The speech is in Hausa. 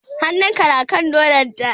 Hannun ka na kan nonon ta?